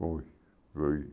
Foi, foi.